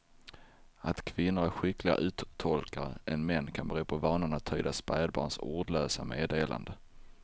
Att kvinnor är skickligare uttolkare än män kan bero på vanan att tyda spädbarns ordlösa meddelanden.